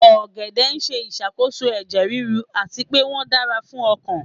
Ogede n ṣe isakoso ẹjẹ riru ati pe wọn dara fun ọkan